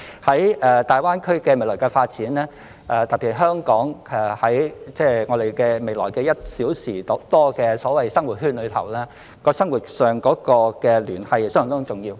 在大灣區的未來發展中，特別是在香港未來的所謂1小時生活圈內，生活上的聯繫相當重要。